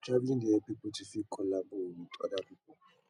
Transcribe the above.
traveling dey help pipo to fit collabo with other pipo